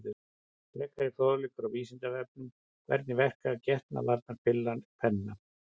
Frekari fróðleikur á Vísindavefnum: Hvernig verkar getnaðarvarnarpilla kvenna?